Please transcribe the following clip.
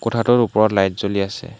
কোঠাটোৰ ওপৰত লাইট জ্বলি আছে।